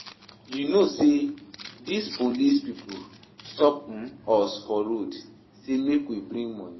You know sey dese police pipo stop us um for road say make we bring moni.